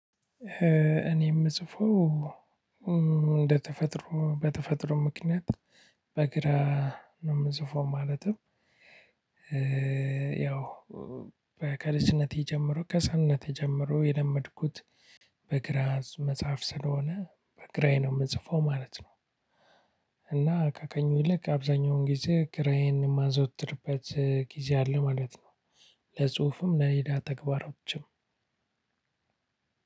እኔ የምጽፈው እንደተፈጥሮ በተፈጥሮ ምክንያት በግራ ነው የምጽፈው ማለትም ያው ከልጅነቴ ጀምሮ ከህፃንነቴ ጀምሮ የለመድኩት በግራ መጻፍ ስለሆነ በግራዬ ነው የምጽፈው ማለት ነው። እና ከቀኙ ልክ አብዛኛውን ጊዜ ግራዬን የማዘወትርበት ጊዜ አለ ማለት ነው። ለጽሁፍም ለሌላ ተግባሮችም።